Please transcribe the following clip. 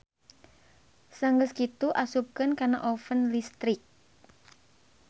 Sanggeus kitu asupkeun kana oven listrik.